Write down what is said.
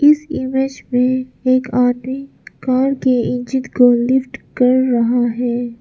इस इमेज में एक आदमी कार के इंजन को लिफ्ट कर रहा है।